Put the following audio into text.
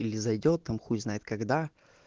или зайдёт там хуй знает когда